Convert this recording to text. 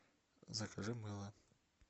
закажи мыло